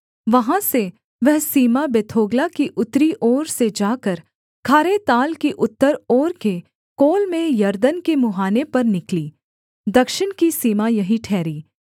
वहाँ से वह सीमा बेथोग्ला की उत्तरी ओर से जाकर खारे ताल की उत्तर ओर के कोल में यरदन के मुहाने पर निकली दक्षिण की सीमा यही ठहरी